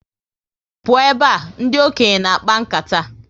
Pụọ ebe a! Ndị okenye na akpa nkata